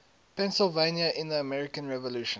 pennsylvania in the american revolution